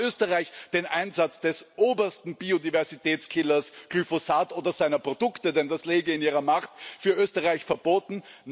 Aber hat Österreich den Einsatz des obersten Biodiversitätskillers, Glyphosat, oder seiner Produkte denn das läge in Ihrer Macht für Österreich verboten?